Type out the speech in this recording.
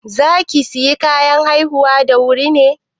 Za ki sayi kayan haihuwa da wuri ne?